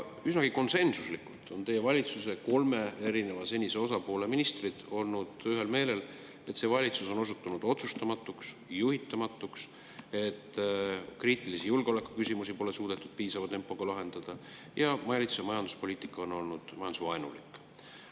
Üsnagi konsensuslikult on teie senise valitsuse kolme osapoole ministrid olnud ühel meelel, et see valitsus on osutunud otsustamatuks ja juhitamatuks, kriitilisi julgeolekuküsimusi pole suudetud piisava tempoga lahendada ning valitsuse majanduspoliitika on olnud majandusvaenulik.